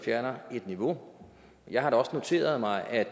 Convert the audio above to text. fjerner et niveau jeg har da også noteret mig at